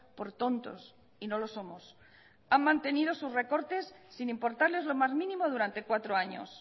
por tontos y no lo somos han mantenido sus recortes sin importarles lo más mínimo durante cuatro años